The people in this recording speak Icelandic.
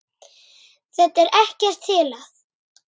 Þetta er ekkert til að.